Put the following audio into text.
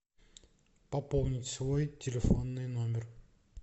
пополнить свой телефонный номер